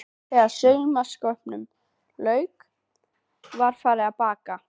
Þegar saumaskapnum lauk var farið að baka.